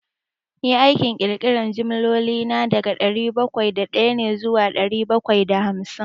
Ni aikin ƙirƙiran jimloli na, daga dari bakwai da ɗaya ne zuwa ɗari bakwai da hamsin.